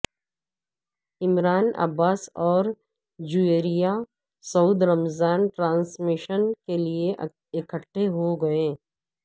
عمران عباس اور جویریہ سعود رمضان ٹرانسمیشن کیلئے اکٹھے ہوگئے